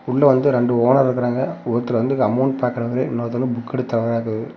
உள்ள வந்து ரெண்டு ஓனர் இருக்காரங்க ஒருத்தர் வந்து அமௌன்ட் பாக்குறவரு இன்னொருத்தர் வந்து புக் எடுத்து தர்றாரு.